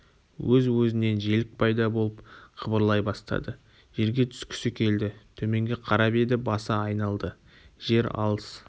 өз-өзінен желік пайда болып қыбырлай бастады жерге түскісі келді төменге қарап еді басы айналды жер алыс